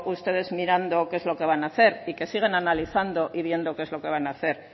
ustedes mirando qué es lo que van a hacer y que siguen analizando y viendo qué es lo que van a hacer